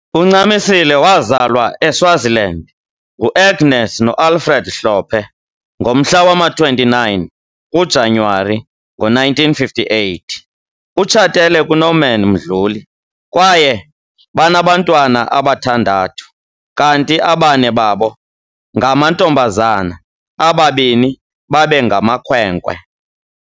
UNcamisile wazalwa eSwaziland nguAgnes noAlfred Hlophe ngomhla wama-29 kuJanyuwari ngo-1958. Utshatele kuNorman Mdluli kwaye banabantwana abathandathu kanti abane babo ngamantombazana ababini babe ngamakhwenkwe.